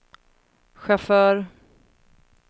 chaufför